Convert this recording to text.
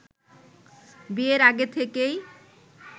বিয়ের আগে থেকেই